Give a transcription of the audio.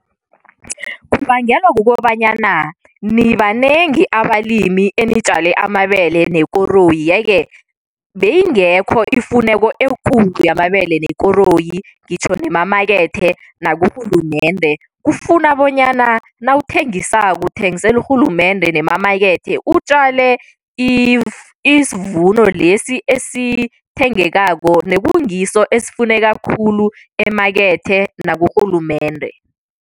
Kubangelwa kukobanyana nibanengi abalimi enitjale amabele nekoroyi, ye-ke beyingekho ifuneko ekulu yamabele nekoroyi ngitjho nemamakethe nakurhulumende. Kufuna bonyana nawuthengisako uthengisela urhulumende nemamakethe utjale isivuno lesi esithengekako, nekungiso esifuneka khulu emakethe nakurhulumende.